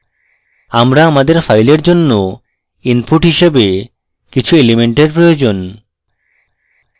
আমার আমাদের file জন্য input হিসাবে কিছু elements প্রয়োজন